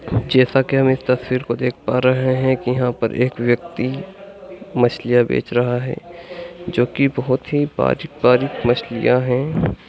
जैसा की आप इस तस्वीर को देख पा रहे है की यहाँ पर एक व्यक्ति मछलियाँ बेच रहा है जो की बहुत ही परिकपार मछलियाँ है|